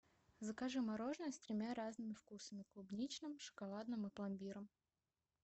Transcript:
закажи мороженое с тремя разными вкусами клубничным шоколадным и пломбиром